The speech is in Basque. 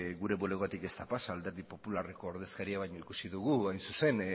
gure bulegotik ez da pasa alderdi popularreko ordezkaria baina ikusi dugu hain zuzen